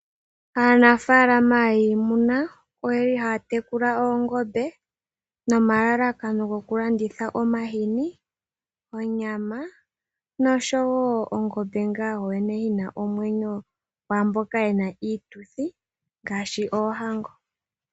Aanafaalama yiimuna oyeli haya tekula oongombe nomalalakano gokulanditha omahini, onyama osho wo okulanditha ongombe yina omwenyo kwaamboka ye na iituthi ngaashi oohango.